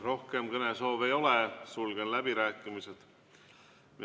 Rohkem kõnesoove ei ole, sulgen läbirääkimised.